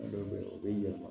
u bɛ yɛlɛma